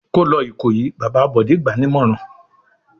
"Kó lọ Ìkòyí!" Bàbá Bọ̀dé gbà á nímọ̀ràn.